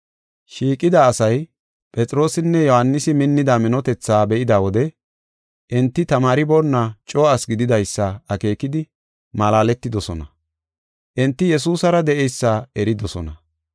Shiiqida asay Phexroosinne Yohaanisi minnida minotetha be7ida wode enti tamaariboonna coo asi gididaysa akeekidi, malaaletidosona; enti Yesuusara de7eysa eridosona.